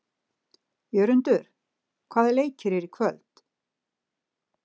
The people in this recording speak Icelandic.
Jörundur, hvaða leikir eru í kvöld?